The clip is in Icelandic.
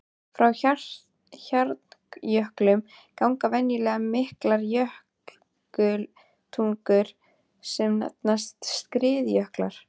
Frá hjarnjöklum ganga venjulega miklar jökultungur sem nefnast skriðjöklar.